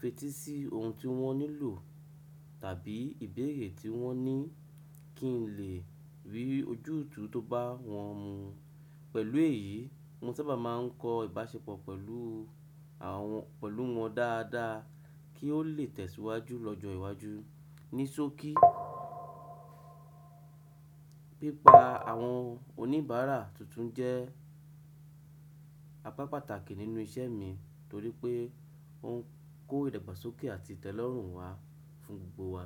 fetí sí ohun tí wọ́n nílò tàbí ìbéèrè tí wọ́n ní kí n lè rí ojútùú tó bá wọn mu. Pẹ̀lú èyí, mo sábà máa ń kọ́ ìbáṣepọ̀ pẹ̀lú wọn dáadáa kí ó lè tẹ̀síwájú lọ́jọ́ iwájú. Ní sókí, pípa àwọn oníbàárà tuntun jẹ́ apá pàtàkì nínú iṣẹ́ mi torí pé ó ń kó ìdàgbàsókè àti ìtẹ́lọ́rùn wá fún gbogbo wa.